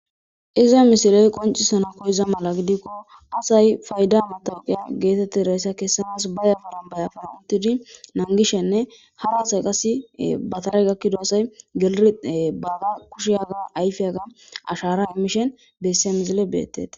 Izza missile qoncisiza mala gidkko assay faydaza matawuqiya gethethiraysa kesanawu ba yaffaran yaffaran uttid nagishene hara assay qassi ba Tara gakida assay gelidine ee baga ayfiyaga kushayga ayfiyganashara imishen heyssa missilen bethethess.